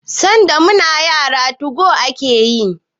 Sanda muna yara '2go' ake yayi